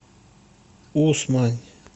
усмань